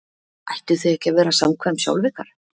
Ættuð þið ekki að vera samkvæm sjálf ykkur?